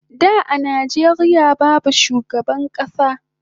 Da a Nijeria babu shugaban kasa